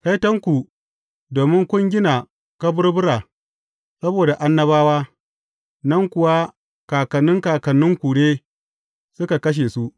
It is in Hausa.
Kaitonku, domin kun gina kaburbura saboda annabawa, nan kuwa kakannin kakanninku ne suka kashe su.